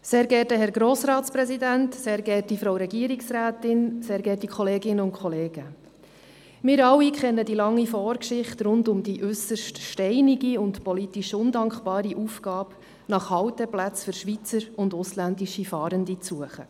Wir alle kennen die lange Vorgeschichte rund um die äusserst steinige und politisch undankbare Aufgabe, nach Halteplätzen für Schweizer und ausländische Fahrende zu suchen.